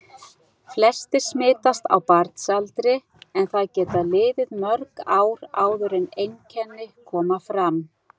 Flestir smitast á barnsaldri en það geta liðið mörg ár áður en einkenni koma fram.